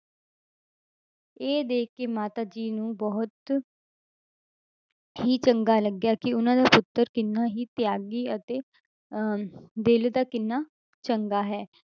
ਇਹ ਦੇਖ ਕੇ ਮਾਤਾ ਜੀ ਨੂੰ ਬਹੁਤ ਹੀ ਚੰਗਾ ਲੱਗਿਆ ਕਿ ਉਹਨਾਂ ਦਾ ਪੁੱਤਰ ਕਿੰਨਾ ਹੀ ਤਿਆਗੀ ਅਤੇ ਅਹ ਦਿਲ ਦਾ ਕਿੰਨਾ ਚੰਗਾ ਹੈ।